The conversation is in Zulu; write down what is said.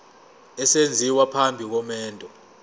esenziwa phambi komendo